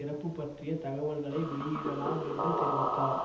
இறப்பு பற்றிய தகவலை வெளியிடலாம் என்று தெரிவித்தார்